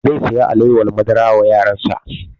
Zai saya alewar madara wa yaran sa